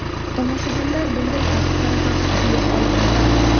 Tomoshabinlar bunday xatti-harakatni quyuq olqishladi.